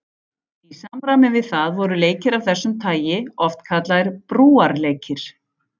Í samræmi við það voru leikir af þessu tagi oft kallaðir brúarleikir.